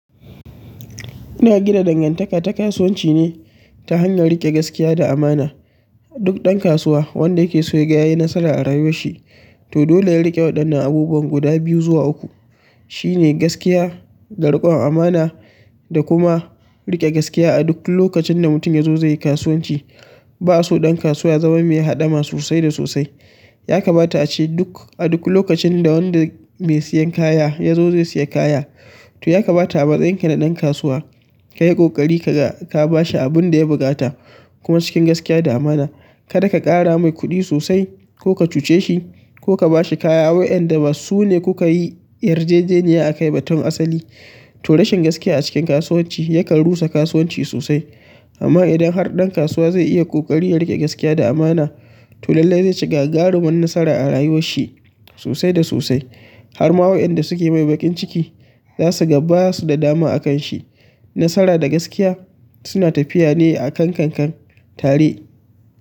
Ina gina danganta ka ta kasuwanci ne, ta hanyar riƙe gaskiya da amana. Duk ɗan kasuwa wanda yake so yaga ya yi nasara a rayuwar shi, to dole yayi rike waɗannan abubuwa guda biyu zuwa uku. Shi ne gaskiya, da rikon amana da kuma riƙ gaskiya a duk lokacin da mutum ya zo zai yi kasuwanci. Ba a so ɗan kasuwa ya zama mai haɗama sosai da sosai. Ya kamata a ce duk a duk lokacin da wanda mai siyan kaya ya zo zai siya kaya, to ya kamata a matsayin ka na ɗan kasuwa ka yi ƙoƙari kaga ka ba shi abun da ya buƙata kuma cikin gaskiya da amana. Kada ka ƙara mai kuɗi sosai ko ka cuce shi, ko ka ba shi kaya wayanda ba su ne kuka yi yarjejeniya a kai ba tun asali. To rashin gaskiya a cikin kasuwanci yakan rusa kasuwanci sosai. Amma idan har ɗan kasuwa zai iya ƙoƙari ya rike gaskiya da amana, to lallai zai ci gagarumar nasara a rayuwar shi sosai da sosai. Har ma waƴanda suke mai baƙin ciki zasu ga basu da dama akan shi nasara da gaskiya suna tafiya ne akankankan tare.